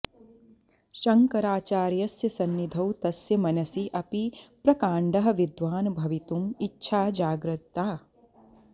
शङ्कराचार्यस्य सन्निधौ तस्य मनसि अपि प्रकाण्डः विद्वान् भवितुम् इच्छा जागतिका